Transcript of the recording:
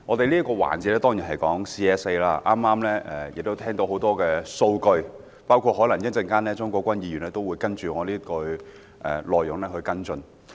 本環節討論的是 CSA， 我們聽到許多數據，而稍後鍾國斌議員也會就我的發言內容作出跟進。